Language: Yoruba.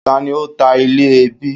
Ta ni ó ta ilẹ̀ ẹbí?